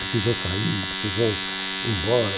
Precisou sair, precisou ir embora.